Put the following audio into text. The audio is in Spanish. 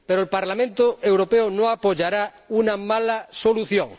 Pero el Parlamento Europeo no apoyará una mala solución.